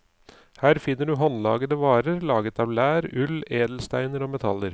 Her finner du håndlagede varer laget av lær, ull, edelsteiner og metaller.